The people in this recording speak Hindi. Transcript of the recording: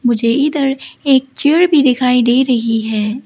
मुझे इधर एक चेयर भी दिखाई दे रही है।